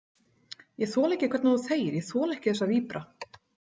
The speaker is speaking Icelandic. Ég þoli ekki hvernig þú þegir, ég þoli ekki þessa víbra.